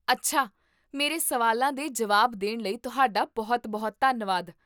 ਅੱਛਾ. ਮੇਰੇ ਸਵਾਲਾਂ ਦੇ ਜਵਾਬ ਦੇਣ ਲਈ ਤੁਹਾਡਾ ਬਹੁਤ ਬਹੁਤ ਧੰਨਵਾਦ